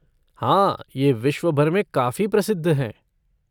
हाँ, ये विश्वभर में काफ़ी प्रसिद्ध हैं।